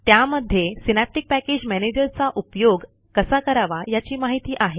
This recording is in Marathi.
त्यामध्ये सिनॅप्टिक पॅकेज मॅनेजरचा उपयोग कसा करावा याची माहिती आहे